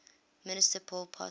minister pol pot